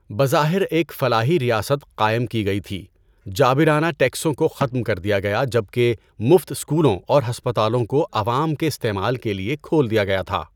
بظاہر ایک فلاحی ریاست قائم کی گئی تھی، جابرانہ ٹیکسوں کو ختم کر دیا گیا جبکہ مفت سکولوں اور ہسپتالوں کو عوام کے استعمال کے لیے کھول دیا گیا تھا۔